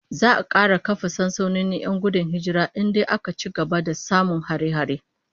Za'a kara kafa sansanonin 'yan gudun hijira in dai aka ci gaba da samun hare-hare